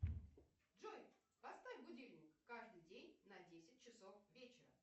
джой поставь будильник каждый день на десять часов вечера